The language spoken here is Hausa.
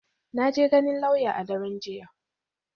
Na je ganin lauya a daren jiya.